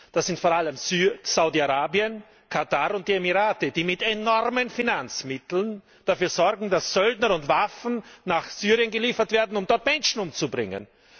Das sind vor allem Saudi Arabien, Katar und die Emirate, die mit enormen Finanzmitteln dafür sorgen, dass Söldner und Waffen nach Syrien geliefert werden, um dort Menschen umzubringen.